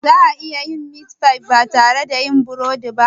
Za a iya yin meat pie ba tare da yin burodi ba?